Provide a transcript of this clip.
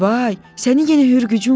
Vay, sənin yenə hürgücün var!